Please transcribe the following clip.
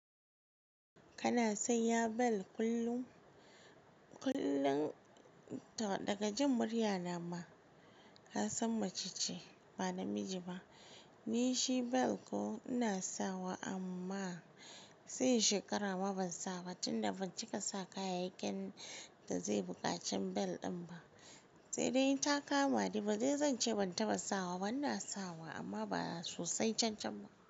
Kana son yin ball kullum? Kullum daga jkn murya na ma ka san mace ce ba namiji ba. Ni shi belt ko ina sawa amma sai shekara ma ban sawa ba tunda ban cika sa kayayyakin da zai buƙaci belt din ba. Sai dai in ta kama dai badai zai zance ban taba sawa ba ina sawa amma ba sosai can can ba.